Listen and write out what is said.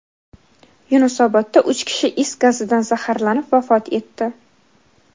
Yunusobodda uch kishi is gazidan zaharlanib vafot etdi.